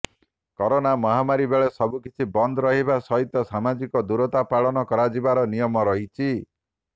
corona ମହାମାରୀ ବେଳେ ସବୁକିଛି ବନ୍ଦ ରହିବା ସହିତ ସାମାଜିକ ଦୂରତା ପାଳନ କରାଯିବାର ନିୟମ ରହିଛି